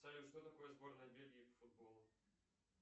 салют что такое сборная бельгии по футболу